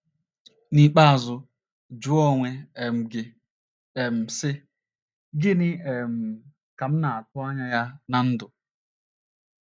N’ikpeazụ, jụọ onwe um gị um, sị: ‘ Gịnị um ka m na - atụ anya ya ná ndụ?